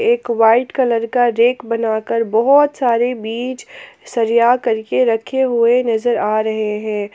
एक white colour का rack बनाकर बहुत सारे बीज सजिया करके रखे हुए नजर आ रहे हैं।